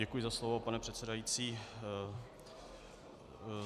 Děkuji za slovo, pane předsedající.